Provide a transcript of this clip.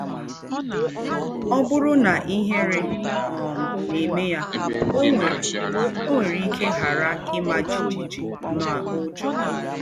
Ọ bụrụ na ihere um na-eme ya, ọ nwere, ọ nwere ike ghara ịma jijiji na ụjọ.